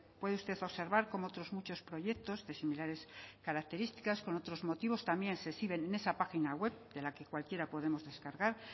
puede usted observar como otros muchos proyectos de similares características con otros motivos también se exhiben en esa página web de la que cualquiera podemos descargar